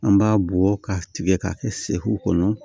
An b'a bɔ k'a tigɛ k'a kɛ seku kɔnɔ